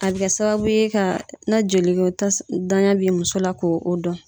A bɛ kɛ sababu ye ka na joliko ta danya bi muso la ko o dɔn.